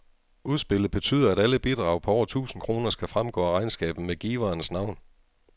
Udspillet betyder, at alle bidrag på over tusind kroner skal fremgå af regnskabet med giverens navn.